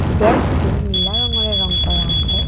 ডেক্স টো নীলা ৰঙেৰে ৰং কৰা আছে।